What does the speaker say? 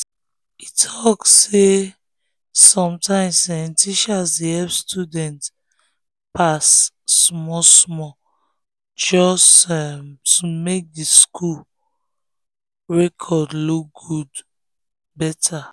e talk say sometimes um teachers dey help students pass small-small just um to make the school the school record look better.